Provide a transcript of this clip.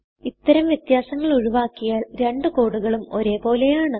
ഇത്തരം വ്യത്യാസങ്ങൾ ഒഴിവാക്കിയാൽ രണ്ട് കോഡുകളും ഒരേ പോലെയാണ്